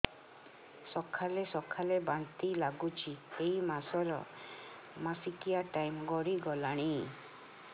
ସକାଳେ ସକାଳେ ବାନ୍ତି ଲାଗୁଚି ଏଇ ମାସ ର ମାସିକିଆ ଟାଇମ ଗଡ଼ି ଗଲାଣି